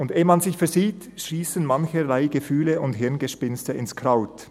Und eh man sich’s versieht, schiessen mancherlei Gefühle und Hirngespinste ins Kraut.